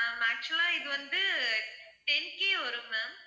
ma'am actual ஆ இது வந்து ten K வரும் ma'am